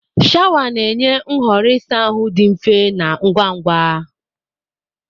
Shawa na-enye nhọrọ ịsa ahụ dị mfe na ngwa ngwa.